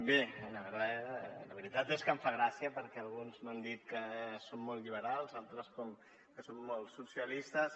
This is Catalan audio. bé la veritat és que em fa gràcia perquè alguns m’han dit que som molt liberals altres que som molt socialistes